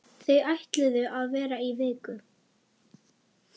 Þau ætluðu að vera í viku.